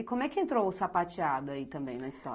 E como é que entrou o sapateado aí também na história?